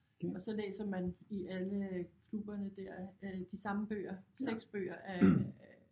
Og så læser man i alle klubberne dér øh de samme bøger 6 bøger af